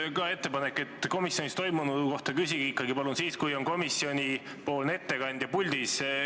Mul on samuti ettepanek: palun küsige komisjonis toimunu kohta siis, kui komisjoni ettekandja on puldis.